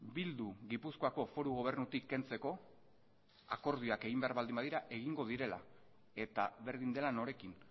bildu gipuzkoako foru gobernutik kentzeko akordioak egin behar baldin badira egingo direla eta berdin dela norekin